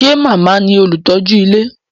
Ṣé màmá ní olùtọ́jú ilé?